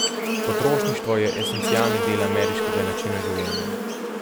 Potrošništvo je esencialni del ameriškega načina življenja.